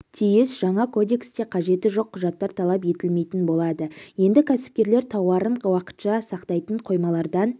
тиіс жаңа кодексте қажеті жоқ құжаттар талап етілмейтін болады енді кәсіпкерлер тауарын уақытша сақтайтын қоймалардан